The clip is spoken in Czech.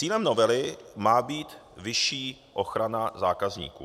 Cílem novely má být vyšší ochrana zákazníků.